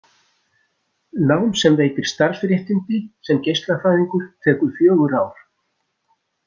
Nám sem veitir starfsréttindi sem geislafræðingur tekur fjögur ár.